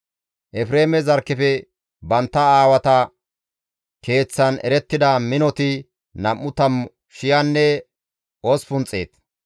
Efreeme zarkkefe bantta aawata keeththan erettida minoti nam7u tammu shiyanne osppun xeet.